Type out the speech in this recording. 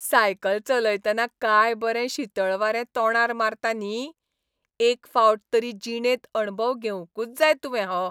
Cycle चलयतना काय बरें शीतळ वारें तोंडार मारता न्ही, एक फावट तरी जिणेंत अणभव घेवंकूच जाय तुवें हो.